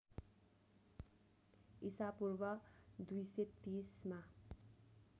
इसापूर्व २३० मा